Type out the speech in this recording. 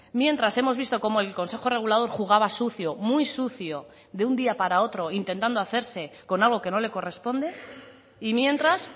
mientras hemos visto como el consejo regulador jugaba sucio muy sucio de un día para otro intentando hacerse con algo que no le corresponde y mientras